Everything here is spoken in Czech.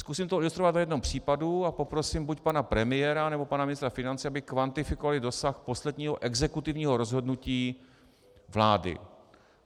Zkusím to ilustrovat na jednom případu a poprosím buď pana premiéra, nebo pana ministra financí, aby kvantifikovali dosah posledního exekutivního rozhodnutí vlády.